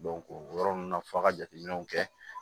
o yɔrɔ ninnu na f'a ka jateminɛw kɛ